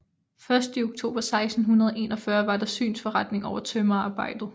Først i oktober 1641 var der synsforretning over tømrerarbejdet